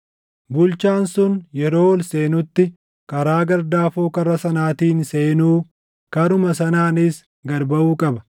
Bulchaan sun yeroo ol seenutti karaa gardaafoo karra sanaatiin seenuu, karuma sanaanis gad baʼu qaba.